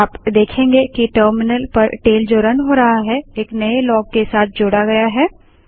आप देखेंगे कि टर्मिनल पर टेल जो रन हो रहा है एक नए लॉग के साथ जोड़ा गया है